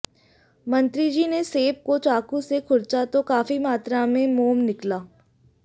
मंत्रीजी ने सेब को चाकू से खुरचा तो काफी मात्रा में मोम निकला